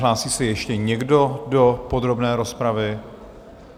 Hlásí se ještě někdo do podrobné rozpravy?